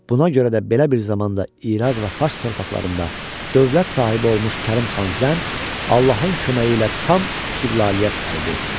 Buna görə də belə bir zamanda İraq və Fars torpaqlarında dövlət sahibi olmuş Kərim xan Zənd Allahın köməyi ilə tam istiqlaliyyət əldə etdi.